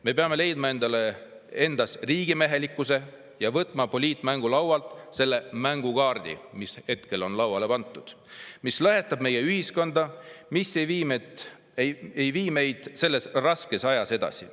Me peame leidma endas riigimehelikkuse ja võtma poliitmängulaualt selle mängukaardi, mis on lauale pandud, lõhestab meie ühiskonda ega vii meid selles raskes ajas edasi.